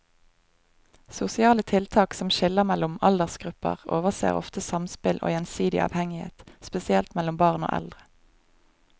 Sosiale tiltak som skiller mellom aldersgrupper overser ofte samspill og gjensidig avhengighet, spesielt mellom barn og eldre.